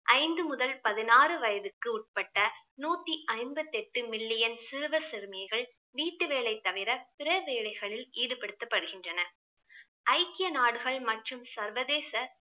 ஐந்து முதல் பதினாறு வயதிற்கு உட்பட்ட நூத்தி ஐம்பத்தெட்டு million சிறுவர் சிறுமிகள் வீட்டு வேலை தவிர பிற வேலைகளில் ஈடுபடுத்தப்படுகின்றனர். ஐக்கிய நாடுகள் மற்றும் சர்வதேச